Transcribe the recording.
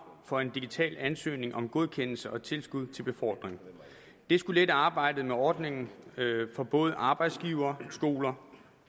for en digital ansøgning om godkendelse af og tilskud til befordring det skulle lette arbejdet med ordningen for både arbejdsgivere skoler